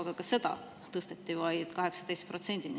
Aga ka seda tõsteti vaid 18%‑ni.